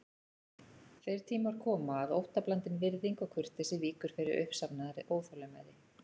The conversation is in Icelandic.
Þeir tímar koma að óttablandin virðing og kurteisi víkur fyrir uppsafnaðri óþolinmæði.